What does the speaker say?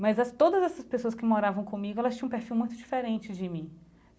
Mas essas todas essas pessoas que moravam comigo, elas tinham perfil muito diferente de mim.